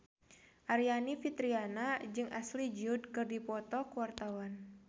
Aryani Fitriana jeung Ashley Judd keur dipoto ku wartawan